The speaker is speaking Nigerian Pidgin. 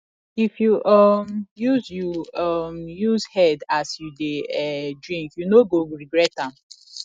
if you um use you um use head as you dey um drink you no go regret am